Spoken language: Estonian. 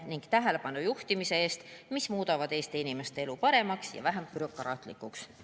Selline tähelepanu juhtimine muudab Eesti inimeste elu paremaks ja vähem bürokraatlikuks.